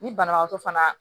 Ni banabaatɔ fana